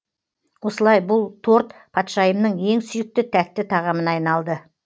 осылай бұл торт патшайымның ең сүйікті тәтті тағамына айналды